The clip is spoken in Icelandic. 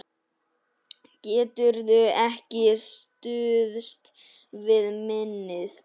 Geturðu ekki stuðst við minnið?